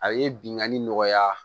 A ye binganni nɔgɔya